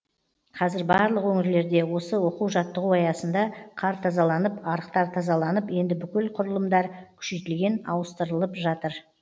қазір барлық өңірлерде осы оқу жаттығу аясында қар тазаланып арықтар тазаланып енді бүкіл құрылымдар күшейтілген ауыстырылып жатыр